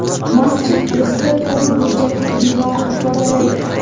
Masjid o‘zida to‘g‘ri burchakli binoni ifodalaydi.